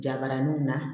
Jabaraninw na